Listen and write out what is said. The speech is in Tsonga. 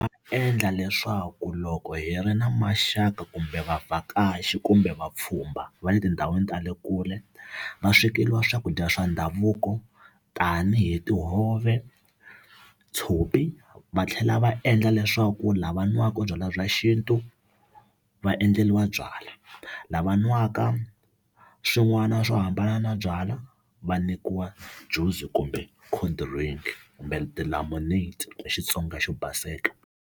Swi endla leswaku loko hi ri na maxaka kumbe vavhakachi kumbe vapfhumba va le tindhawini ta le kule va swekeriwa swakudya swa ndhavuko tanihi tihove tshopi va tlhela va endla leswaku lava nwaka byalwa bya xintu va endleriwa byalwa lava nwaka swin'wana swo hambana na byalwa va nyikiwa juice kumbe cold drink kumbe tilamuneti hi Xitsonga xo baseke.